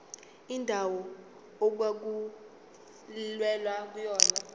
indawo okwakulwelwa kuyona